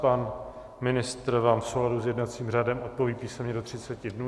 Pan ministr vám v souladu s jednacím řádem odpoví písemně do 30 dnů.